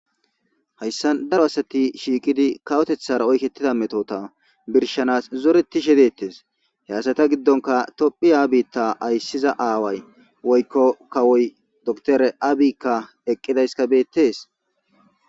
Hayssan daro asati shiiqidi kawotethara oyqeetida metota birshanas zoretiishe de'etees he asata giddonikka tophphiya aysiza aaway woykko kawoy doktere abiykka eqqidaysikka beetees.